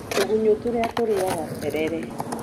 Tũgunyũ tũrĩa tũrĩaga terere.